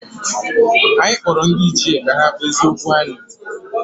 Anyị kpọrọ ndị ichie ka ha kpezie okwu anyị